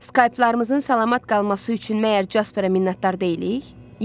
Skyplarımızın salamat qalması üçün məgər Jasperə minnətdar deyilik?